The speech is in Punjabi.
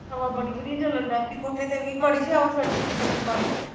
ਹਵਾ ਬੜੀ ਵਦੀਆ ਚੱਲਣ ਡੈਪੀ ਕੋਠੇ ਤੇ ਵੀ, ਮਾੜੀ ਜੀ ਹਵਾ ਛੂਟਪਈ ਤੇ ਬੱਤੀ ਬੰਦ